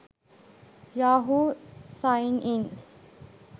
yahoo signin